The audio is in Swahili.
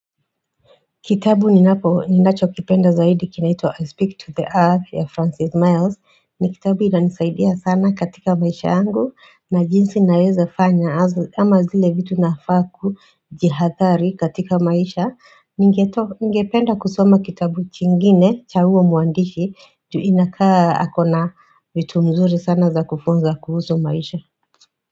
Kitabu ni napo, ninacho kipenda zaidi kinaitwa I Speak to the Earth ya Francis Miles. Ni kitabu inanisaidia sana katika maisha yangu na jinsi naweza fanya ama zile vitu nafaa ku jihadhari katika maisha. Ningependa kusoma kitabu chingine cha huyo mwandishi ju inakaa akona vitu mzuri sana za kufunza kuhusu maisha.